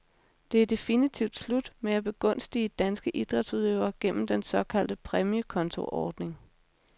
Det er definitivt slut med at begunstige danske idrætsudøvere gennem den såkaldte præmiekontoordning.